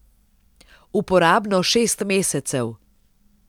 Uporabno šest mesecev.